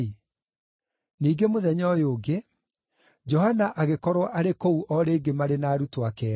Ningĩ mũthenya ũyũ ũngĩ, Johana agĩkorwo arĩ kũu o rĩngĩ marĩ na arutwo ake eerĩ.